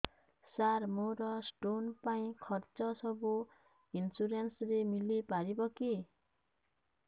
ସାର ମୋର ସ୍ଟୋନ ପାଇଁ ଖର୍ଚ୍ଚ ସବୁ ଇନ୍ସୁରେନ୍ସ ରେ ମିଳି ପାରିବ କି